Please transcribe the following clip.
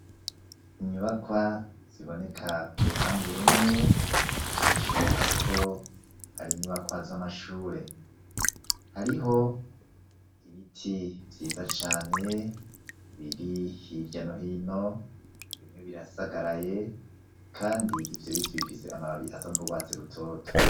Inyubakwa, ziboneka uruhande rumwe, bishoboka ko, ari inyubakwa z'amashure; hariho ibiti, vyiza cane, biri hirya no hino; bimwe birasagaraye, kandi ivyo biti, bifise amababi, asa n'urwatsi rutoto.